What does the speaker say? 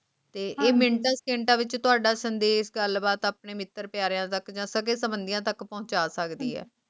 ਤੇ ਮਿੰਟਾਂ ਸਕਿੰਟਾਂ ਵਿੱਚ ਤੁਹਾਡਾ ਸੰਦੇਸ਼ ਗੱਲਬਾਤ ਆਪਣੇ ਮਿੱਤਰ ਪਿਆਰਿਆਂ ਦਾ ਖਜ਼ਾਨਾਂ ਤੇ ਮੰਤਰੀਆਂ ਤੱਕ ਪਹੁੰਚਾ ਸਕਦੀ ਹੈ